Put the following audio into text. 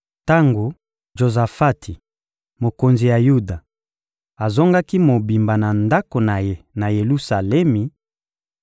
Tango Jozafati, mokonzi ya Yuda, azongaki mobimba na ndako na ye na Yelusalemi,